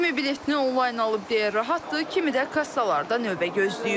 Kimi biletini onlayn alıb deyə rahatdır, kimi də kassalarda növbə gözləyir.